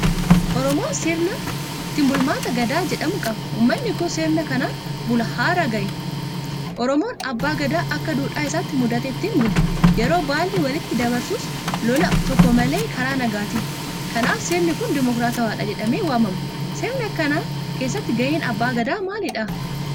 Oromoon sirna ittiin bulmaataa Gadaa jedhamu qaba. Uummanni kun sirna kanaan bulaa har'a gahe. Oromoon Abbaa Gadaa akka duudhaa isaatti muudatee ittiin bula. Yeroo baallii walitti dabarsus lola tokko malee karaa nagaatiini. Kanaaf sirni kun dimokraatawaadha jedhamee waamama. Sirna kana keessatti gaheen Abbaa Gadaa maalidha?